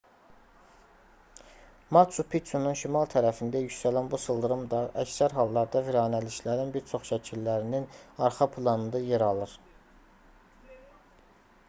maçu piçunun şimal tərəfində yüksələn bu sıldırım dağ əksər hallarda viranəliklərin bir çox şəkillərinin arxa planında yer alır